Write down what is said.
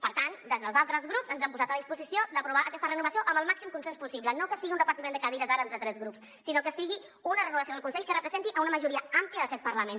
per tant des dels altres grups ens hem posat a disposició d’aprovar aquesta renovació amb el màxim consens possible no que sigui un repartiment de cadires ara entre tres grups sinó que sigui una renovació del consell que representi una majoria àmplia d’aquest parlament